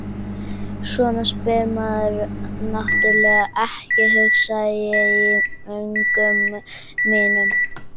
Svona spyr maður náttúrlega ekki, hugsa ég í öngum mínum.